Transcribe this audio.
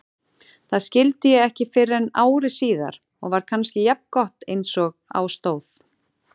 Það skildi ég ekki fyrren ári síðar og var kannski jafngott einsog á stóð.